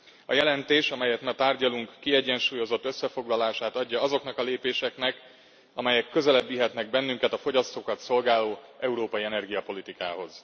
A jelentés, amelyet ma tárgyalunk, kiegyensúlyozott összefoglalását adja azoknak a lépéseknek, amelyek közelebb vihetnek bennünket a fogyasztókat szolgáló európai energiapolitikához.